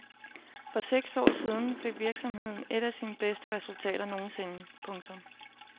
For seks år siden fik virksomheden et af sine bedste resultater nogensinde. punktum